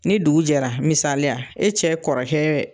Ni dugu jɛla ,misaliya e cɛ kɔrɔkɛ